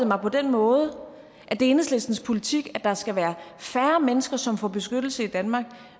mig på den måde at det er enhedslistens politik at der skal være færre mennesker som får beskyttelse i danmark